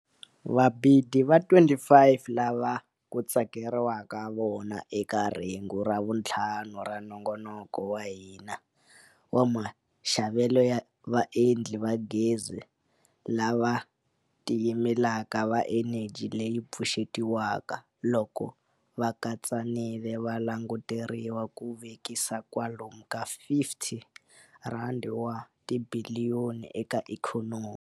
Vabidi va 25 lava ku tsakeriwaka vona eka rhengu ra vuntlhanu ra Nongonoko wa hina wa Maxavelo ya Vaendli va Gezi lava Tiyimelaka va Eneji leyi Pfuxetiwaka loko va katsanile va languteriwa ku vekisa kwalomu ka R50 wa tibiliyoni eka ikhonomi.